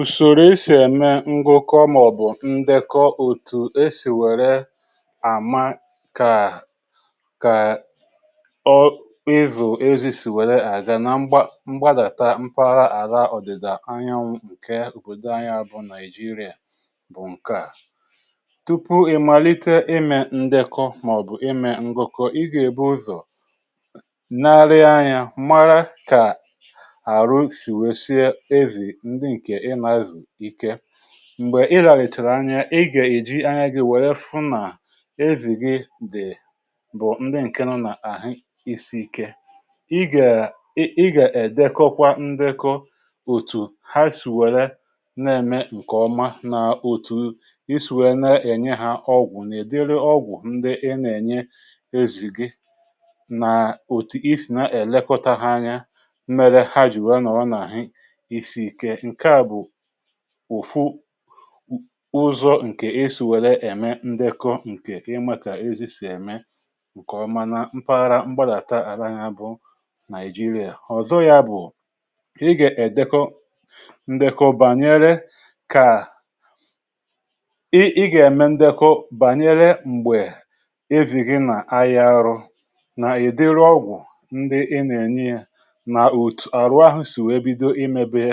Ụzọ e si eme ngụkọ ma ọ bụ ndekọ otu e si were ama ka ka ịzụ ezi si aga na mpaghara mgba mgbadata mpara ala ọdịda anyanwụ Nigeria. Nke a bụ ụzọ a na-esi eme ndekọ ma ọ bụ ngụkọ banyere ezì, karịchaa n'ime mpaghara mgbada mpara ala ọdịda anyanwụ Naịjirịa.Tupu i malite ime ndekọ ma ọ bụ ime ngụkọ ihe, e kwesịrị ibu ụzọ na-ele anya, mara ka mgbè i lali tara anya, ị ga-eji anya gị hụ na ezì gị dị bụ ndị nọ n'ahị isi ike. Ị ga-edekwa ndekọ otu ha si were na-eme nke ọma, na otu i si na-enye ha ọgwụ. N'ọtụtụ ụzọ, ndekọ a na-enyere aka ilekọta ha nke ọma, na ịmata oge mmere ha jiri nọ n’ahị isi ike. Ụzọ esi were eme ndekọ banyere ezi ga-enyere gị ime ihe ọma na mpaghara mgbadata ala ya bụ Nigeria. Họzọ ọzọ bụ na ị ga-ede ndekọ banyere: Mgbe evi ghi na ayi arụ, idịrị ọgwụ ndị i na-enye ha, otu ahụ si bido imebi,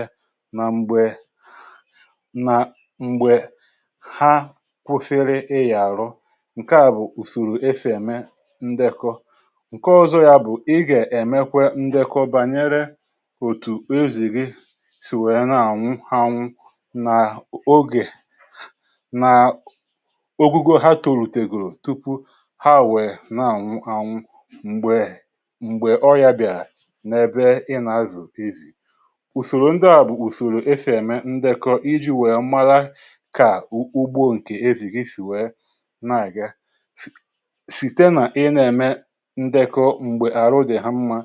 mgbe ha kwụsịrị ịnya. N’ezie, ndekọ a ga-enyere gị ịchọpụta oge nsogbu bidoro. Nke a bụ ụzọ e si were eme ndekọ. Ụzọ ọzọ bụ ị ga-eme ndekọ banyere otu ozi gị si were na-anwụ anwụ ma oge na ogo ha tolutegolu tupu ha nwụrụ anwụ, ma ọ bụ mgbe ọrịa bịara n’ebe i na-azụ ezì. Ụzọ ndị a bụ ụzọ e si were eme ka ugbo ezì gị si na-aga nke ọma. Nke a na-apụta site n’ị na-eme ndekọ mgbe ahụ dị ha mma,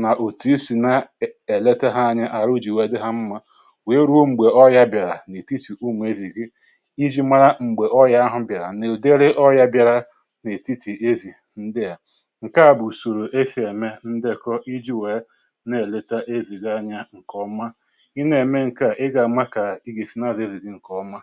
na otu i si na-ele ha anya, iji hụ na ahụ jị wee dị ha mma ruo mgbe nsogbu ma ọ bụ ọrịa bịara n’etiti ụmụ ezì gị. Ị ga-eji ndekọ a mara mgbe ọrịa ahụ bịara, na ụdere ọ bịara n’etiti ezì ndị a. Nke a bụ ụzọ e si eme ndekọ. Ị na-eme nke a, ọ na-abụ ndekọ nke ọma.